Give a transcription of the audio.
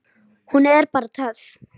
Hún er bara töff.